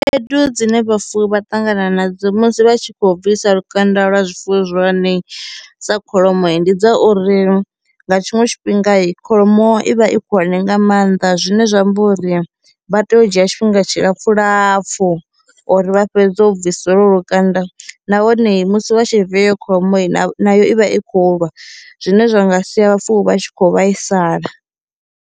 Khaedu dzine vhafuwi vha ṱangana nadzo musi vha tshi kho bvisa lukanda lwa zwifuwo zwihulwanei sa kholomo, ndi dza uri nga tshiṅwe tshifhinga i kholomo i vha i khulwane nga maanḓa zwine zwa amba uri vha tea u dzhia tshifhinga tshilapfu lapfu uri vha fhedze u bvisa lwo lo lukanda nahone musi vha tshi via kholomoi na nayo i vha i khou lwa zwine zwa nga sia vhafuwi vha tshi kho vhaisala.